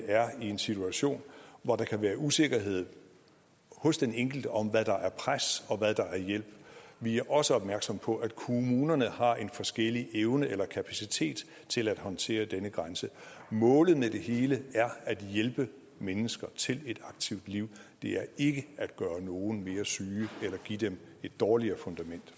er i en situation hvor der kan være usikkerhed hos den enkelte om hvad der er pres og hvad der er hjælp vi er også opmærksomme på at kommunerne har en forskellig evne eller kapacitet til at håndtere denne grænse målet med det hele er at hjælpe mennesker til et aktivt liv det er ikke at gøre nogle mere syge eller give dem et dårligere fundament